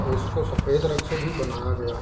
और उसको सफेद रंग से भी बनाया गया है।